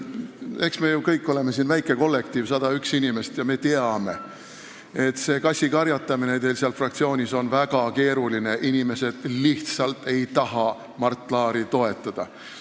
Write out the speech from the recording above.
Eks me oleme ju väike kollektiiv, 101 inimest, ja teame, et see kassikarjatamine on teil seal fraktsioonis väga keeruline – inimesed lihtsalt ei taha Mart Laari toetada.